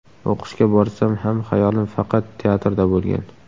O‘qishga borsam ham xayolim faqat teatrda bo‘lgan.